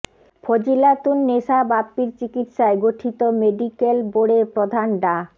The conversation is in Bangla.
ফজিলাতুন নেসা বাপ্পির চিকিৎসায় গঠিত মেডিক্যাল বোর্ডের প্রধান ডা